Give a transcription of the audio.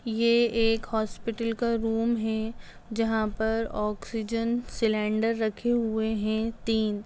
ये एक हॉस्पिटल का रूम है जहाँ पर ऑक्सीजन सिलेंडर रखे हुए हैं तीन।